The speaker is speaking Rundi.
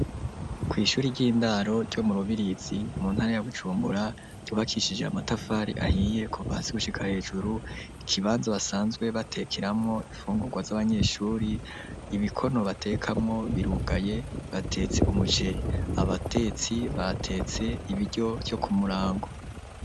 Kw'ishuri ry'intango ryo mu Rubirizi muntara ya Bujumbura ryubakishije amatafari ahiye kuva hasi gushika hejuru ikibanza basanzwe batekeramwo imfungurwa zabanyeshure ibikono batekeramwo birugaye batetse umuceri abatetsi batetse ibiryo vyo kumurango.